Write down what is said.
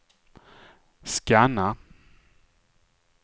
scanna